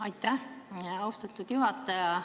Aitäh, austatud juhataja!